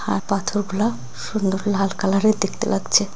আর পাথর গুলা সুন্দর লাল কালারের দেখতে লাগছে ।